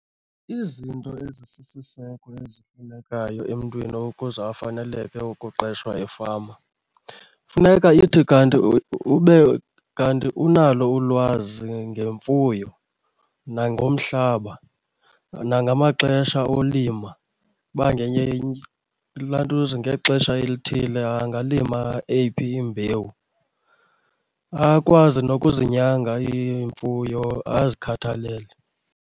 Izinto ezisisiseko ezifunekayo emntwini ukuze afaneleke ukuqeshwa efama, funeka ithi kanti ube kanti unalo ulwazi ngemfuyo, nangomhlaba, nangamaxesha olima uba ilantuza ngexesha elithile angalima eyiphi imbewu. Akwazi nokuzinyanga iimfuyo azikhathalele.